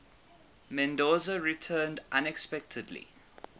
mendoza returned unexpectedly